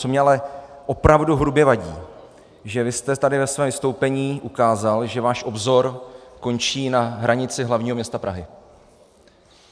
Co mi ale opravdu hrubě vadí, že vy jste tady ve svém vystoupení ukázal, že váš obzor končí na hranici hlavního města Prahy.